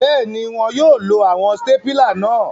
Bẹẹni, wọn yóò lo awọn stapila náà